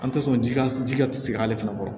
An tɛ sɔn ji ka ji ka sigi ale fana kɔrɔ